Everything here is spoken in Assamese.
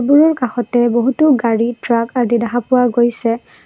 ওৰ কাষতে বহুতো গাড়ী ট্ৰাক আদি দেখা পোৱা গৈছে।